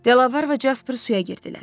Delavar və Casper suya girdilər.